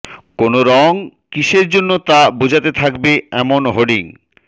কোন রঙ কিসের জন্য তা বোঝাতে থাকবে এমন হোর্ডিং